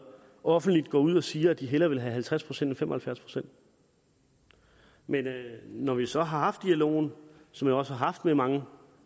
offentligt går ud og siger at de hellere vil have halvtreds procent end fem og halvfjerds procent men når vi så har haft dialogen som jeg også har haft med mange